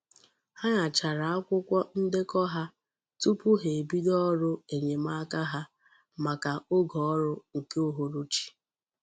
Ha nychara akwukwo ndeko ha tupu ha ebido oru enyemaka ha maka oge órú nke uhuruchi.